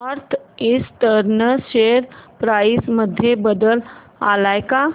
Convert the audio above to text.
north eastern share price मध्ये बदल आलाय का